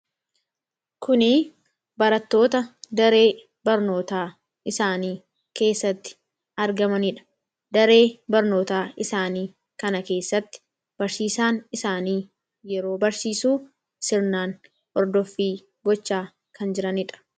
Kuni barattoota daree barnootaa isaanii keessatti argamanidha. Daree barnootaa isaanii kana keessatti barsiisaan isaanii yeroo barsiisuu sirnaan ordoffii gochaa kan jiranidha.